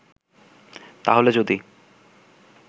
তাহলে যদি